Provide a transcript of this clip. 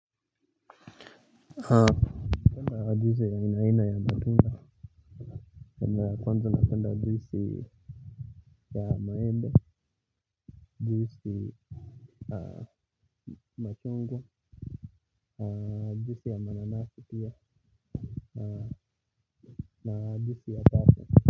Napenda juisi ya aina aina ya matunda aina ya kwanza napenda juisi ya maembe. Juisi machungwa juisi ya mananasi pia na juisi ya kato.